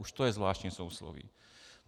Už to je zvláštní sousloví.